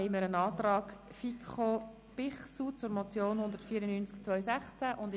Hier liegt ein Antrag FiKo/Bichsel zur Motion 194-2016 vor.